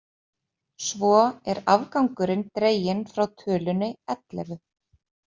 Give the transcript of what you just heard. Svo er afgangurinn dreginn frá tölunni ellefu